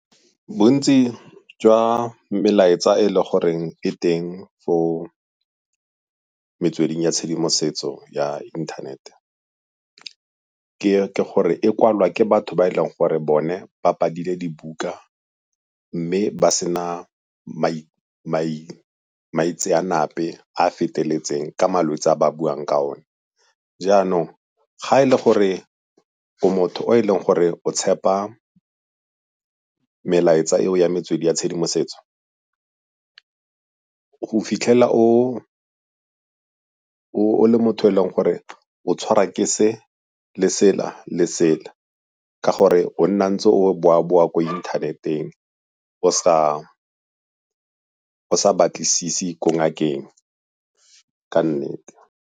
Bontsi jwa melaetsa e e le goreng e teng mo metsweding ya tshedimosetso ya inthanete ke gore e kwalwa ke batho ba e leng gore bone ba badile dibuka mme ba sena maitseanape a a feteletseng ka malwetsi a ba buang ka one. Jaanong ga e le gore ko motho o e leng gore o tshepa melaetsa eo ya metswedi ya tshedimosetso, go fitlhela o le motho e leng gore o tshwara ke se, le sela, le sela. Ka gore o nna ntse o boa-boa ko inthaneteng o sa batlisise ko ngakeng ka nnete.